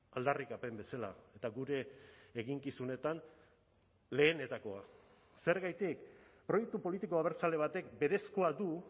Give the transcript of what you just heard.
aldarrikapen bezala eta gure eginkizunetan lehenetakoa zergatik proiektu politiko abertzale batek berezkoa du